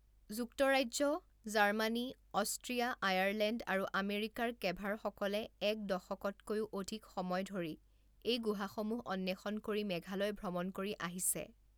যুক্তৰাজ্য, Germany, Austria, Ireland আৰু আমেৰিকাৰ কেভাৰসকলে এক দশকতকৈও অধিক সময় ধৰি এই গুহাসমূহ অন্বেষণ কৰি মেঘালয় ভ্ৰমণ কৰি আহিছে।